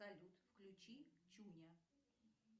салют включи чуня